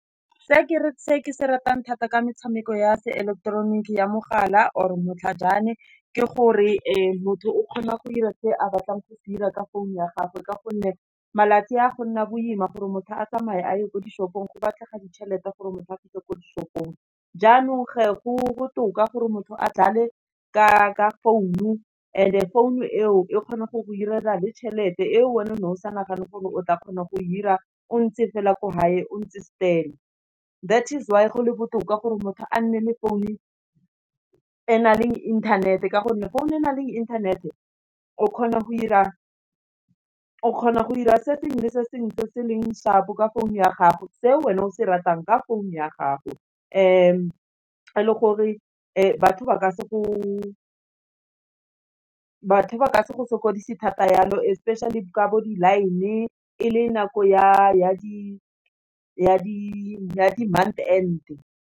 Se ke se ratang thata ke metshameko ya se eleketeroniki ya mogala, or e matlhajana, ke gore motho o kgona go ira se a batlang go se dira ka phone ya gagwe, ka gonne malatsi a, go nna boima gore motho a tsamaye a ye ko dishopong go batlega ditšhelete gore motho a fitlhe ko dishopong. Jaanong ge, go botoka gore motho a dlale ka phone, and phone e o, e kgona go go direla le tšhelete e o wena o ne o sa nagane gore o tla kgona go ira o ntse fela ko gae o ntse stil-e that's why go le botoka gore motho a nne le phone e nang le inthanete, ka gonne founu e nang le inthanete o kgona go ira se sengwe le sengwe se se leng shap-o, ka founu ya gago, se wena o se ratang ka founu ya gago. le gore batho ba ka se go sokodise thata yalo, especially ka bo di-line-e, e le nako ya di month end.